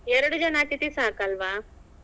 ಎರಡು ಜನ ಅತಿಥಿ ಸಾಕಲ್ವಾ?